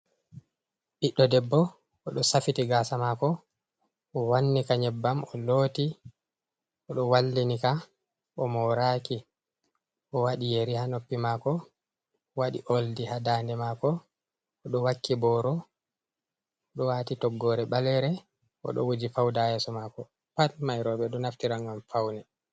Ɓiɗɗo debbo, o ɗo safiti gaasa maako, o wannika nyebbam, o looti, o ɗo wallinika, o mooraki, o waɗi yeri haa noppi maako, o waɗi oldi haa daande maako, o ɗo wakki booro, o ɗo waati toggoore ɓaleere, o ɗo wuji fawda haa yeeso maako. Pat may rowɓe ɗo naftira ngam pawne.